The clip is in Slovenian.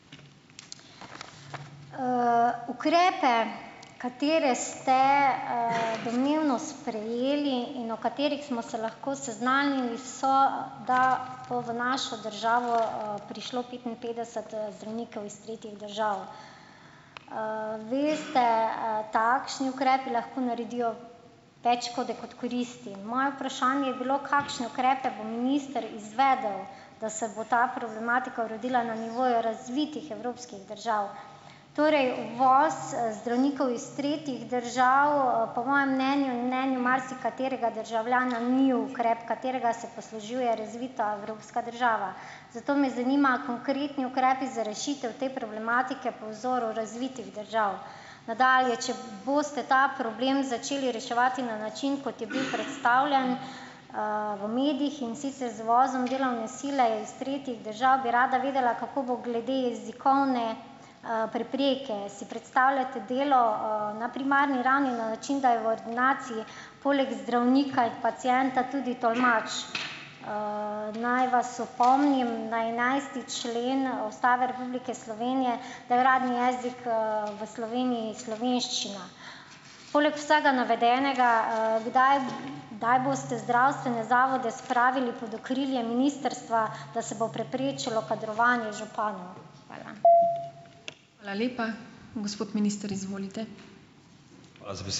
Ukrepe, katere ste, domnevno sprejeli in o katerih smo se lahko seznanili, so, da bo v našo državo prišlo, petinpetdeset zdravnikov iz tretjih držav. Veste, takšni ukrepi lahko naredijo več škode kot koristi. Moje vprašanje je bilo, kakšne ukrepe bo minister izvedel, da se bo ta problematika uredila na nivoju razvitih evropskih držav. Torej, uvoz, zdravnikov iz tretjih držav po mojem mnenju in mnenju marsikaterega državljana ni ukrep, katerega se poslužuje razvita evropska država. Zato me zanimajo konkretni ukrepi za rešitev te problematike po vzoru razvitih držav. Nadalje, če boste ta problem začeli reševati na način, kot je bil predstavljen, v medijih, in sicer z uvozom delovne sile iz tretjih držav, bi rada vedela, kako bo glede jezikovne, prepreke? Si predstavljate delo, na primarni ravni na način, da je v ordinaciji poleg zdravnika in pacienta tudi tolmač? Naj vas opomnim na enajsti člen Ustave Republike Slovenije, da je uradni jezik, v Sloveniji slovenščina. Poleg vsega navedenega, kdaj kdaj boste zdravstvene zavode spravili pod okrilje ministrstva, da se bo preprečilo kadrovanje županu? Hvala.